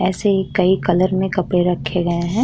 ऐसे ही कई कलर में कपड़े रखे गए हैं।